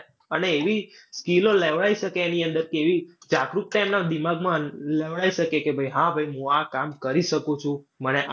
અને એવી skill ઓ લેવડાવી શકે એની અંદરથી, એવી જાગૃતતા એમના દિમાગમાં લેવડાવી શકે કે ભાઈ હા હું આ કામ કરી શકું છું મને.